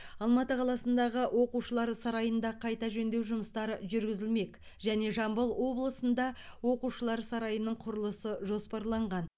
алматы қаласындағы оқушылар сарайында қайта жөндеу жұмыстары жүргізілмек және жамбыл облысында оқушылар сарайының құрылысы жоспарланған